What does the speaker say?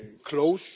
close.